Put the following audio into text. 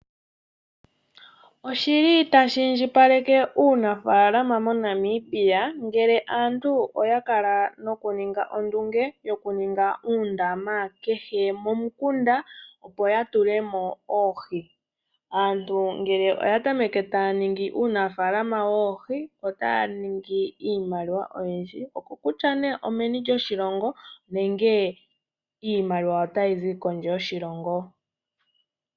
Oshili tashi indjipaleke uunafaalama monamibia ngele aantu oyakala noku ninga ondunge yoku ninga uundama kehe momukunda yo ya tulemo oohi